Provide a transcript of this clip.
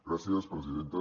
gràcies presidenta